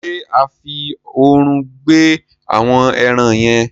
ṣe a fí òòrùn gbẹ àwọn èràn yen?